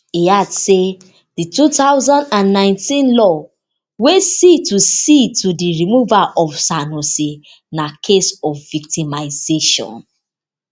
e add say di two thousand and nineteen law wey see to see to di removal of sanusi na case of victimisation